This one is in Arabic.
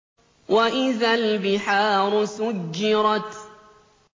وَإِذَا الْبِحَارُ سُجِّرَتْ